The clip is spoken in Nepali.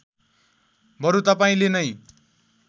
बरु तपाईँले नै